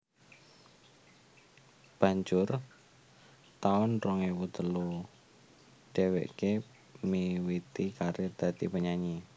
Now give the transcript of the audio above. Banjur taun rong ewu telu dheweké miwiti karir dadi penyanyi